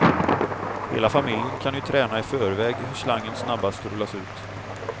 Hela familjen kan ju träna i förväg hur slangen snabbast rullas ut.